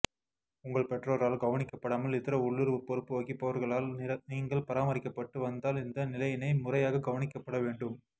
உங்கள் பெற்றோரால் கவனிக்கப்படாமல் இதர உள்ளூர் பொறுப்பு வகிப்பவர்களால் நீங்கள் பராமரிக்கப்பட்டு வந்தால் இந்த நிலையினை முறையாக கவனிக்கப்படவேண்டும